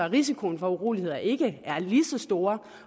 risikoen for uroligheder ikke er lige så stor